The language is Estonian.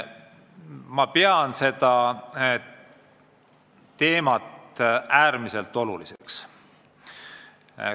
Ma pean seda teemat äärmiselt oluliseks.